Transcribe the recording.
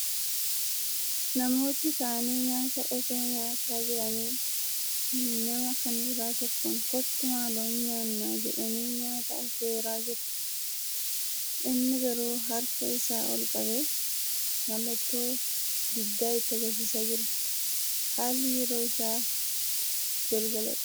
Namooti taa'anii nyaata osoo nyaataa jiranii, nama kan biraa tokkoon "kottu maaloo hin nyaannaa!" jedhanii nyaata affeeraa jiru. Inni garuu Harka isaa ol qabee mallattoo diddaa itti agarsiisaa jira. Haalli yeroo isaa galgaladha.